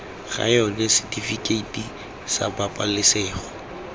ga yona setifikeiti sa pabalesego